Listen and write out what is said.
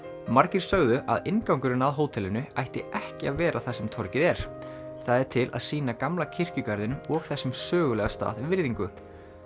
margir sögðu að inngangurinn að hótelinu ætti ekki að vera þar sem torgið er það er til að sýna gamla kirkjugarðinum og þessum sögulega stað virðingu